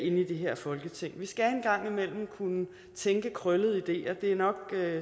i det her folketing vi skal en gang imellem kunne tænke krøllede ideer det er nok